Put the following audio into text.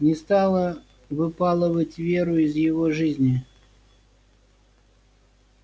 не стала выпалывать веру из его жизни